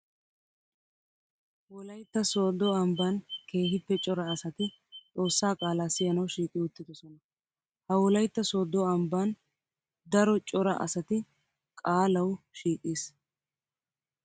Wolaytta soodo ambban keehippe cora asatti xoosa qaala siyanawu shiiqi uttiidosonna. Ha wolaytta sodo ambban daro cora asatti qaalawu shiiqis.